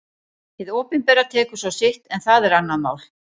Hið opinbera tekur svo sitt en það er annað mál.